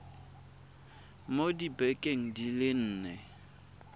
mo dibekeng di le nne